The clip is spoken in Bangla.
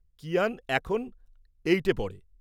কিয়ান এখন এইটে পড়ে।